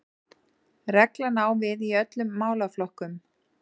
Reglan á við í öllum málaflokkum